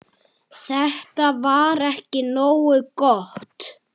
Þetta var ekki nógu gott.